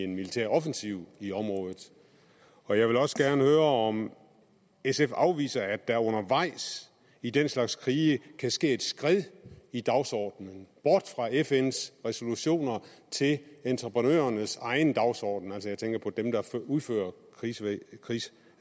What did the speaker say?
militær offensiv i området og jeg vil også gerne høre om sf afviser at der undervejs i den slags krige kan ske et skred i dagsordenen bort fra fns resolutioner til entreprenørernes egen dagsorden altså jeg tænker på dem der udfører